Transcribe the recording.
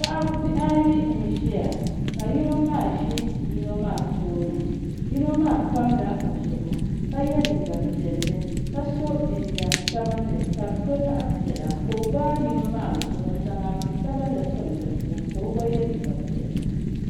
Bihi ayi j ʒiya ka yino maa ʒi yino maa tooni yino maa pamla o zuɣu ka yɛ liiga piɛlli ka so jinjɛm sabinli ka di to zaɣ piɛla ka o gbaai yino maa zuɣu n zaŋ afi sabinli tim di puuni ka o gba yɛ liiga piɛla